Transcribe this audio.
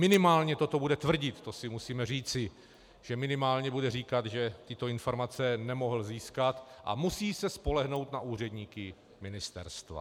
Minimálně toto bude tvrdit, to si musíme říci, že minimálně bude říkat, že tyto informace nemohl získat a musí se spolehnout na úředníky ministerstva.